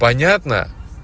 понятно